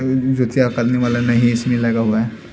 जतिया करने वाला नहीं इसमें लगा हुआ है।